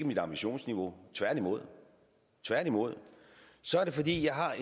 mit ambitionsniveau tværtimod tværtimod så er det fordi jeg har